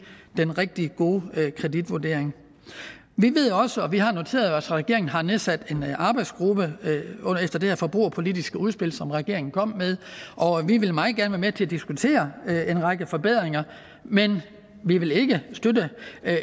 den rigtig gode kreditvurdering vi ved også og vi har noteret os at regeringen har nedsat en arbejdsgruppe efter det her forbrugerpolitiske udspil som regeringen kom med og vi vil meget gerne være med til at diskutere en række forbedringer men vi vil ikke støtte